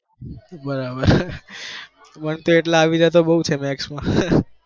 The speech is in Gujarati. બરાબર મન તો એટલા આવી જાય maths જાય તો બૌ છે